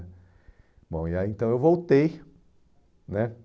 Bom, e aí então eu voltei, né?